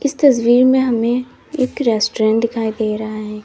इस तस्वीर में हमे एक रेस्टोरेंट दिखाई दे रहा है।